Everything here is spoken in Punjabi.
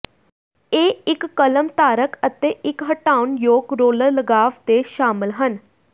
ਇਹ ਇੱਕ ਕਲਮ ਧਾਰਕ ਅਤੇ ਇੱਕ ਹਟਾਉਣਯੋਗ ਰੋਲਰ ਲਗਾਵ ਦੇ ਸ਼ਾਮਲ ਹਨ